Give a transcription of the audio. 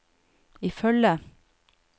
ifølge